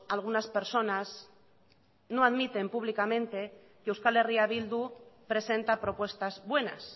algunas personas no admiten públicamente que euskal herria bildu presenta propuestas buenas